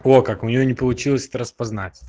о как у неё не получилось это распознать